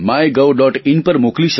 in પર મોકલી શકો છો